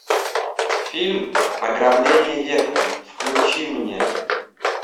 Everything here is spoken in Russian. фильм ограбление века включи мне